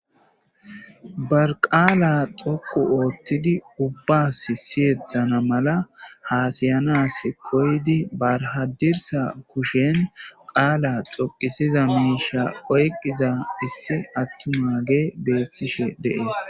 barqaala xoqu oottidi ubbas siyethana mala haasayanas koydi barhadirsa kushen qaala xoqisiza miisha qoyqiza issi attuma ge beethtishe de7ees